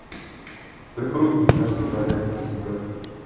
только руки не сожги умоляю прошу брат